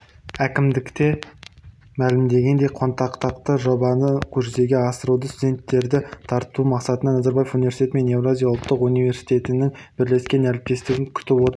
әкімдікте мәлімдегендей қанатқақты жобаны жүзеге асыруда студенттерді тарту мақсатында назарбаев университеті мен еуразия ұлттық университетінің бірлескен әріптестігін күтіп отыр